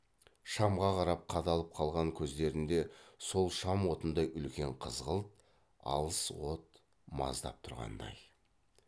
шамға қарап қадалып қалған көздерінде сол шам отындай үлкен қызғылт алыс от маздап тұрғандай